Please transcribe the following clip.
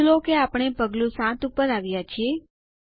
નોંધ લો કે આપણે પગલું ૭ ઉપર આવ્યા છીએ